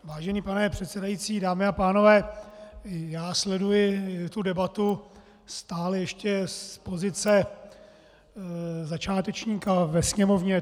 Vážený pane předsedající, dámy a pánové, já sleduji tu debatu stále ještě z pozice začátečníka ve Sněmovně.